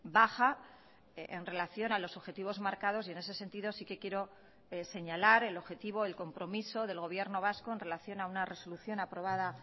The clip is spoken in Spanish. baja en relación a los objetivos marcados y en ese sentido sí que quiero señalar el objetivo el compromiso del gobierno vasco en relación a una resolución aprobada